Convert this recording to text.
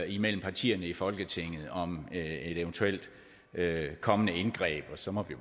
imellem partierne i folketinget om et eventuelt kommende indgreb og så må vi